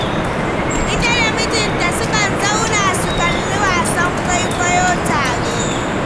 Ita da mijinta sukan zauna, su kalli wasan kwaikwayo tare.